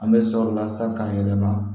An bɛ sɔli la san k'a yɛlɛma